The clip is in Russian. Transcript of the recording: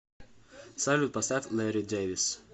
салют поставь лэрри дэвис